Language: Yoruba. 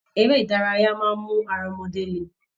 Eré ìdárayá máa n mú ará ọmọdé lè.